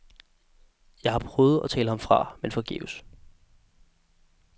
Jeg har prøvet at tale ham fra, men forgæves.